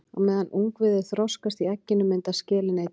Á meðan ungviðið þroskast í egginu myndast skelin einnig.